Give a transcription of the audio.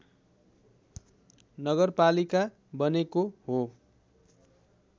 नगरपालिका बनेको हो